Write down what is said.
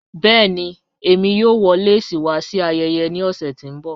Bẹ̀ẹ̀ni, èmi yóò wọ̀ lẹ́sí wa sí ayẹyẹ ní ọṣẹ̀ tí n bọ̀.